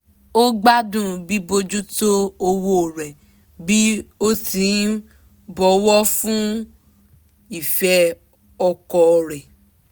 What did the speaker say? ó gbádùn bíbójútó òwò rẹ̀ bí ó ti ń bọ̀wọ̀ fún ìfẹ́ ọkọ rẹ̀